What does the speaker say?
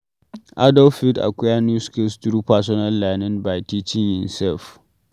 Adult fit acquire new skills through personal learning, by teaching imself